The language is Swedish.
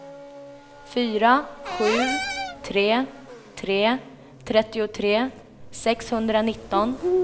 fyra sju tre tre trettiotre sexhundranitton